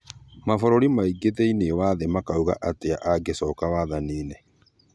Mabũrũri mangĩ thĩinĩ wa thĩ makauga atĩa angecoka wathani-nĩ?